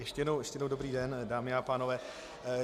Ještě jednou dobrý den, dámy a pánové.